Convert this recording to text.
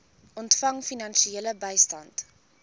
ontvang finansiële bystand